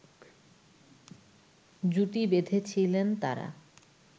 জুটি বেঁধেছিলেন তারা